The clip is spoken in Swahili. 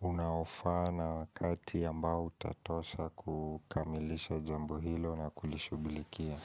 unaofa na wakati ambao utatosha kukamilisha jambo hilo na kulishughulikia.